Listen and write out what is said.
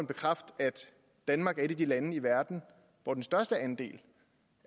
bekræfte at danmark er et af de lande i verden hvor den største andel